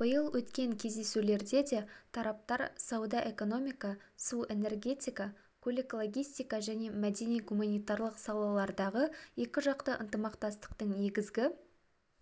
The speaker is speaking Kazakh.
биыл өткен кездесулерде де тараптар сауда-экономика су-энергетика көлік-логистика және мәдени-гуманитарлық салалардағы екіжақты ынтымақтастықтың негізгі